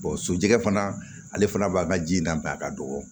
so jɛ fana ale fana b'a ka ji dan a ka dɔgɔ